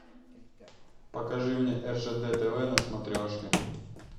покажи мне ржд тв на смотрешке